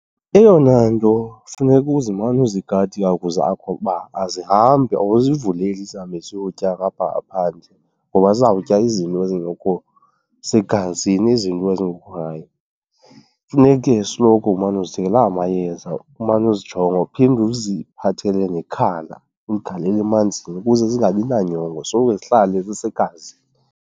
Eyona nto funeka uzimane uzigada iihagu zakho ukuba azihambi, awuzivuleli zihambe ziyotya ngapha ngaphandle ngoba zizawutya izinto ezingekho segazini izinto ezingekho rayithi. Funeke esoloko umane uzithengela amayeza, umane uzijonga, uphinde uziphathele nekhala uligalele emanzini ukuze zingabi nanyongo, soloko zihlale zisegazini.